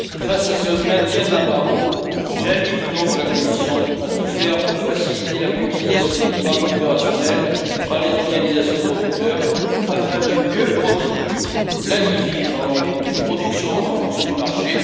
Face à ce maintien de l'embargo, j'invite donc la Commission à tout faire pour faciliter la mobilisation des programmes opérationnels par les organisations de producteurs, afin de mieux planifier les productions en fonction du marché.